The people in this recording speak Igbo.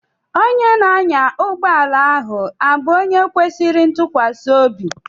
Onye na-anya ụgbọala ahụ abụ onye kwesịrị ịtụkwasị obi?